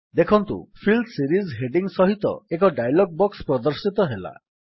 ଦେଖନ୍ତୁ fill series heading ସହିତ ଏକ ଡାୟଲଗ୍ ବକ୍ସ ପ୍ରଦର୍ଶିତ ହେଲା